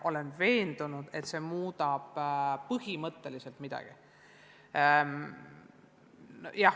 Olen veendunud, et midagi see põhimõtteliselt muudab.